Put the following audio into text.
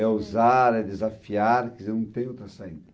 É usar, é desafiar, quer dizer, não tem outra saída.